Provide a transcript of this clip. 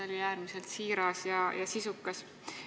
See oli äärmiselt siiras ja sisukas.